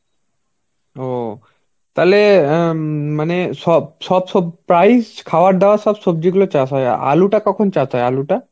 ও তাহলে অ্যাঁ উম মানে সব সব~ price খাওয়ার দাওয়ার সবজিগুলো চাষ হয়. আলুটা কখন চাষ হয়? আলুটা?